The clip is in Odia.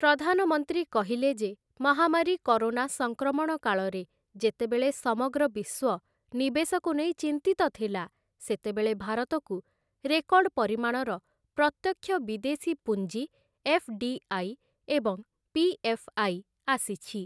ପ୍ରଧାନମନ୍ତ୍ରୀ କହିଲେ ଯେ, ମହାମାରୀ କରୋନା ସଂକ୍ରମଣ କାଳରେ ଯେତେବେଳେ ସମଗ୍ର ବିଶ୍ୱ ନିବେଶକୁ ନେଇ ଚିନ୍ତିତ ଥିଲା, ସେତେବେଳେ ଭାରତକୁ ରେକର୍ଡ଼ ପରିମାଣର ପ୍ରତ୍ୟକ୍ଷ ବିଦେଶୀ ପୁଞ୍ଜି ଏଫ୍‌.ଡି.ଆଇ. ଏବଂ ପି.ଏଫ୍‌.ଆଇ. ଆସିଛି ।